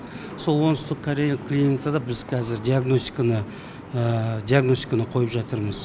сол оңтүстік корея клиникада біз қазір диагностиканы диагностиканы қойып жатырмыз